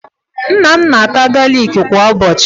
Nna m na-ata galịkị kwa ụbọchị.